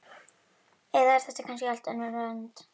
Eða er þetta kannski allt önnur önd?